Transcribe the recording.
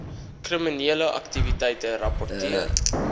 kriminele aktiwiteite rapporteer